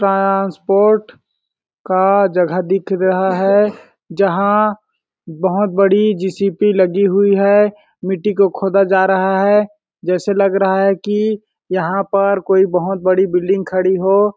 transport का जगह दिख रहा है जहाँं बहुत बड़ी जी_सी_पी लगी हुई है मिट्टी को खोदा जा रहा है जैसे लग रहा है कि यहाँ पर कोई बहुत बड़ी बिल्डिंग खड़ी हो --